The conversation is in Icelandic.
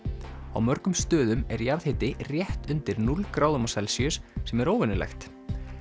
á mörgum stöðum er jarðhiti rétt undir núll gráðum á Celsíus sem er óvenjulegt